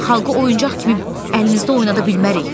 Xalqı oyuncaq kimi əlimizdə oynada bilmərik.